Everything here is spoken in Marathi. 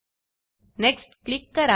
नेक्स्ट नेक्स्ट क्लिक करा